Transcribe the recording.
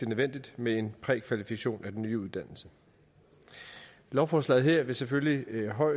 nødvendigt med en prækvalifikation af den nye uddannelse lovforslaget her vil selvfølgelig